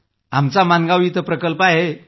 आमचा मानगाव इथं प्रकल्पही आहे